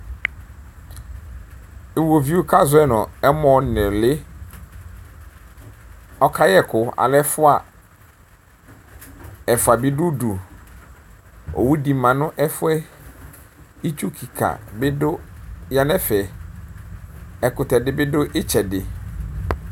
Iwoviu kʋ azɔ yi nʋ ɛmɔ nuli ɔkayɛ ɛkʋ alɛ ɛfʋa ɛfʋa bi dʋ ʋdʋ owʋdi manʋ ɛfʋɛ itsu kika bi yanʋ ɛfɛ ɛkʋtɛdi bidʋ itsɛdi